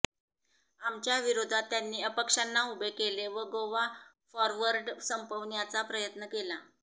आमच्या विरोधात त्यांनी अपक्षांना उभे केले व गोवा फॉरवर्ड संपविण्याचा प्रयत्न केला